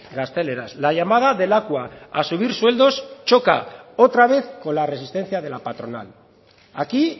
gazteleraz la llamada de lakua a subir sueldos choca otra vez con la resistencia de la patronal aquí